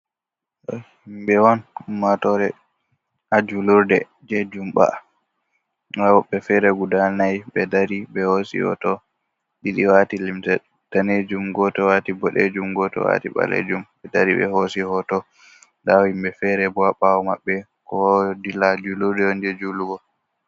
To himɓe'on, ummatore ha julurde jei jumɓa. Nda wobɓe feere gudal nayi ɓe dari ɓe hoosi hoto. Ɗiɗi wati limse danejum gooto wati boɗejum gooto wati ɓalejum. Ɓe dari ɓe hoosi hoto, nda himɓe feere bou ha ɓawo mabɓe kowa adila julurde'on je juulugo.